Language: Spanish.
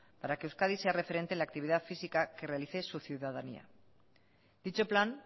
para que euskadi sea referente en la actividad física que realice su ciudadanía dicho plan